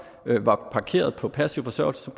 var parkeret på passiv forsørgelse